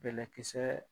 Bɛlɛkisɛ